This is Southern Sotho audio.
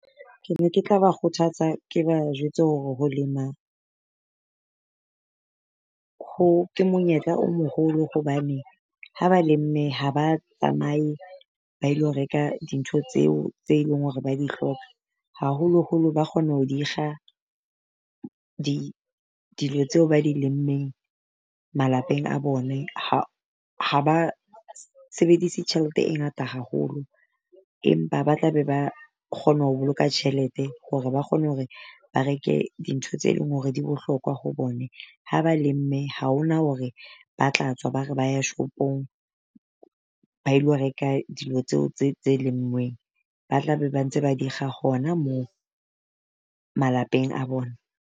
Ke ne ke tla ba kgothatsa, ke ba jwetse hore ho lema ho ke monyetla o moholo hobane, ha ba lemme ha ba tsamae ba ilo reka dintho tseo tse leng hore ba di hloka. Haholoholo ba kgona ho di kga dilo tseo ba di lemmeng malapeng a bone ha ha ba sebedise tjhelete e ngata haholo. Empa ba tla be ba kgone ho boloka tjhelete hore ba kgone hore ba reke dintho tse leng hore di bohlokwa ho bone. Ha ba lemme ha ho na hore ba tla tswa ba re ba ya shopong ba ilo reka dilo tseo tse tse lenngweng ba tla ba ntse ba di kga hona moo malapeng a bona.